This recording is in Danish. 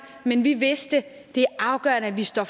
men vi vidste at det er afgørende at vi står